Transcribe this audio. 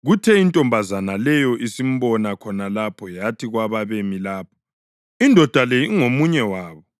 Kuthe intombazana leyo isimbona khona lapho yathi kwababemi lapho, “Indoda le ingomunye wabo.”